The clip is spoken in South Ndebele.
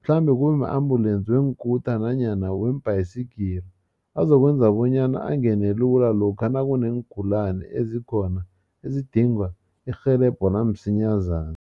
mhlambe kube ma-ambulensi weenkuta nanyana weembayisigiri azokwenza bonyana angene lula lokha nakuneengulana ezikhona ezidinga irhelebho lamsinyazana.